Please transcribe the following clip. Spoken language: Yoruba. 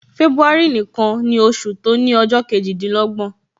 February nìkan ni oṣù to ni ọjọ kejidinlogbon